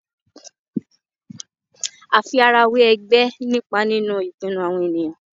àfi ara wẹ ègbé nípa nínú ìpinnu àwọn ènìyàn